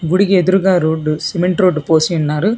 గుడికి ఎదురుగా road cement road పోసి అన్నారు.